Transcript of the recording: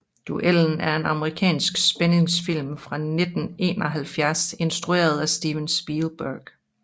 Duellen er en amerikansk spændingsfilm fra 1971 instrueret af Steven Spielberg